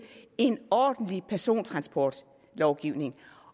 en ordentlig persontransportlovgivning